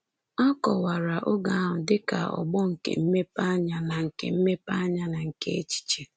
A kọwara oge ahụ dị ka ọgbọ nke mmepeanya na nke mmepeanya na nke echiche.